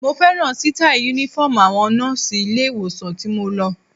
Mo fẹ́ràn sítáì Únífọ́ọ̀mù àwọn nọ́ọ̀sì ilé-ìwòsàn tí mo lọ